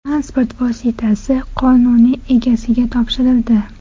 Transport vositasi qonuniy egasiga topshirildi.